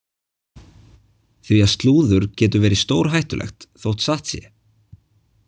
Því að slúður getur verið stórhættulegt þótt satt sé.